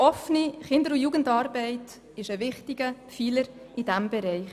Denn die OKJA ist ein wichtiger Pfeiler in diesem Bereich.